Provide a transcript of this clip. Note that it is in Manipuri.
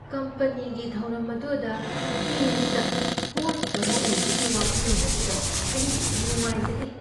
ꯀꯝꯄꯅꯤꯒꯤ ꯊꯧꯔꯝ ꯑꯗꯨꯗ ꯁ꯭ꯇꯦꯖꯗ ꯍꯣꯁꯠ ꯑꯃ ꯑꯣꯏꯕꯒꯤ ꯋꯥꯈꯜꯂꯣꯟ ꯑꯗꯨꯗ ꯑꯩ ꯅꯨꯡꯉꯥꯏꯖꯗꯦ꯫